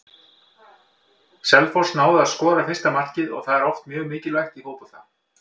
Selfoss náði að skora fyrsta markið og það er oft mjög mikilvægt í fótbolta.